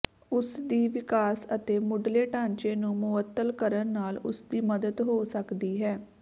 ਉਸ ਦੀ ਵਿਕਾਸ ਅਤੇ ਮੁਢਲੇ ਢਾਂਚੇ ਨੂੰ ਮੁਅੱਤਲ ਕਰਨ ਨਾਲ ਉਸਦੀ ਮਦਦ ਹੋ ਸਕਦੀ ਹੈ